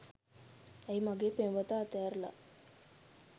ඇයි මගේ පෙම්වතා අතඇරලා